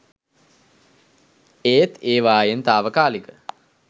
ඒත් ඒවායෙන් තාවකාලික